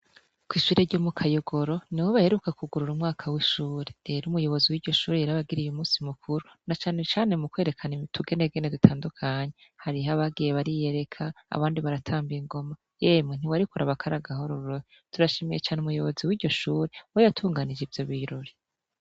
Kwishure ryomu kayogiro nibo baheruka kugururwa umwaka wishure rero umuyobozi wiryoshure yarabagiriye umunsi mukuru nacane cane mukwerekana utugenegene dutandukanye hariho abagiye bariyereka abandi baratamba ingoma ewe ntiwari kuraba kari akaroruhore turashimiye cane umuyobozi wiryoshure we yatunganije ivyobirori